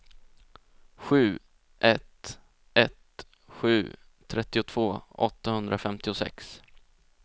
sju ett ett sju trettiotvå åttahundrafemtiosex